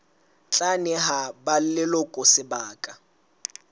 tla neha ba leloko sebaka